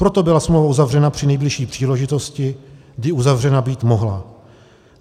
Proto byla smlouva uzavřena při nejbližší příležitosti, kdy uzavřena být mohla.